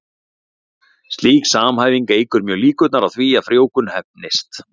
Slík samhæfing eykur mjög líkurnar á því að frjóvgun heppnist.